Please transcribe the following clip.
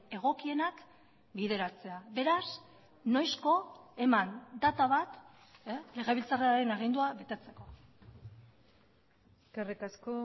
egokienak bideratzea beraz noizko eman data bat legebiltzarraren agindua betetzeko eskerrik asko